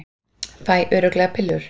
Fæ örugglega pillur